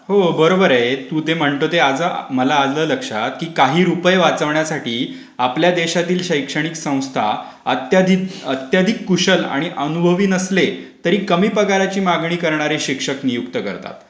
होय. बरोबर आहे. तू ते म्हणतो ते मला आला लक्षात की काही रुपये वाचवण्यासाठी आपल्या देशातील शैक्षणिक संस्था अत्यधिक कुशल आणि अनुभवी नसले तरी कमी पगारची मागणी करणारे शिक्षक नियुक्त करतात.